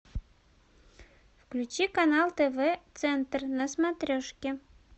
включи канал тв центр на смотрешке